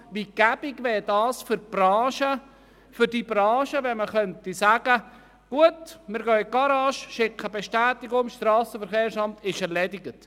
Wie hilfreich wäre es für die Branche, wenn man eine Bestätigung der Behebung eines Mangels an das SVSA schicken könnte, und die Sache wäre erledigt?